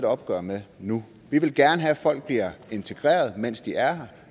opgør med nu vi vil gerne have at folk bliver integreret mens de er her